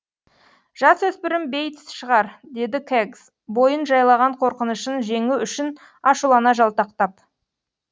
жасөспірім бейтс шығар деді кэгс бойын жайлаған қорқынышын жеңу үшін ашулана жалтақтап